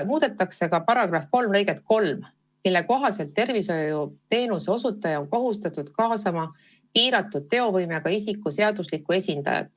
Muudetakse ka § 3 lõiget 3, mille kohaselt on tervishoiuteenuse osutaja kohustatud kaasama piiratud teovõimega isiku seadusliku esindaja.